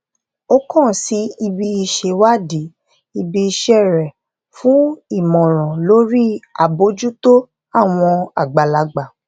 ó kaǹ sí ibi ìṣèwádìí ibi iṣẹ rẹ fún ìmọràn lórí àbójútó àwọn àgbàlagbà